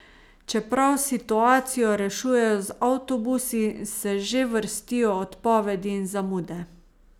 Čeprav situacijo rešujejo z avtobusi, se že vrstijo odpovedi in zamude.